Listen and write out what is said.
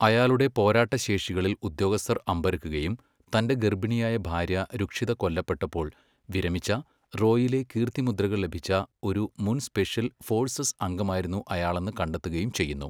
അയാളുടെ പോരാട്ടശേഷികളിൽ ഉദ്യോഗസ്ഥർ അമ്പരക്കുകയും, തൻ്റെ ഗർഭിണിയായ ഭാര്യ രുക്ഷിദ കൊല്ലപ്പെട്ടപ്പോൾ വിരമിച്ച, റോയിലെ കീർത്തിമുദ്രകൾ ലഭിച്ച ഒരു മുൻ സ്പെഷ്യൽ ഫോഴ്സസ് അംഗമായിരുന്നു അയാളെന്ന് കണ്ടെത്തുകയും ചെയ്യുന്നു.